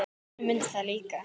Grjóni mundi það líka.